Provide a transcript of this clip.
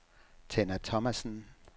Tenna Thomassen